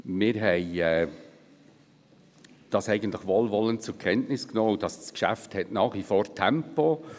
Wir nahmen dies eigentlich wohlwollend zur Kenntnis, und das Geschäft hat nach wie vor Tempo.